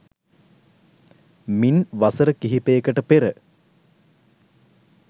මින් වසර කිහිපයකට පෙර